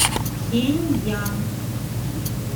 пхеньян